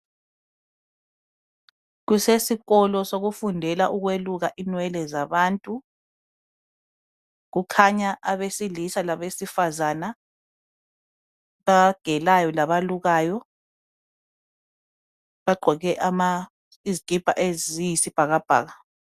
Kusesikolo sokufundela ukweluka inwele zabantu kukhanya abesilisa labesifazana abagelayo labalukayo bagqoke izikipa eziyisibhakabhaka.